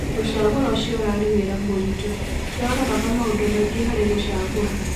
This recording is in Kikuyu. Gũcagũra acio ũrari wĩra mũritũ, tũraroraga maũndũ maingi harĩ gũcagũra.